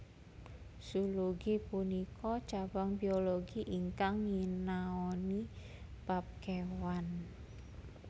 Zoologi punika cabang biologi ingkang nyinaoni bab kewan